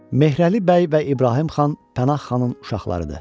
Mehrəli bəy və İbrahim xan Pənah xanın uşaqlarıdır.